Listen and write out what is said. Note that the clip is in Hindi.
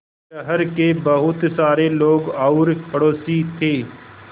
शहर के बहुत सारे लोग और पड़ोसी थे